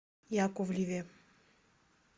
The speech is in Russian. яковлеве